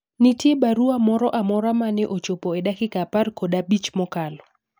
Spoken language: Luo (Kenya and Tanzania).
nitiere barua moro amora mane ochopo e dakika apar kod abich mokalo